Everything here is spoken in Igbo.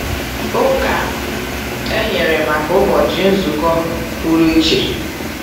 Ụka e nyere maka ụbọchị nzukọ pụrụ iche.